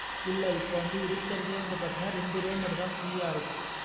இல்லா இப்போ வந்து இருக்குறதே பாத்தினா ரெண்டு row மட்டும் தான் free அ இருக்கு.